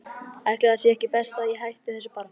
Ætli það sé ekki best að ég hætti þessu bara.